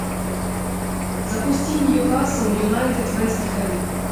запусти ньюкасл юнайтед вест хэм